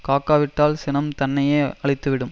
காக்கா விட்டால் சினம் தன்னையே அழித்து விடும்